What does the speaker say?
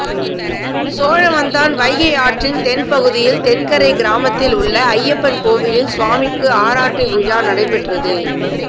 சோழவந்தான் வைகை ஆற்றின் தென்பகுதியில் தென்கரை கிராமத்தில் உள்ள ஐயப்பன் கோவிலில் சுவாமிக்கு ஆராட்டு விழா நடைபெற்றது